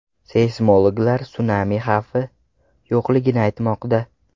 Seysmologlar sunami xavfi yo‘qligini aytmoqda.